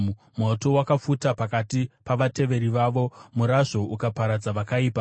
Moto wakapfuta pakati pavateveri vavo; murazvo ukaparadza vakaipa.